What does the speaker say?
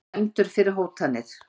Dæmdur fyrir hótanir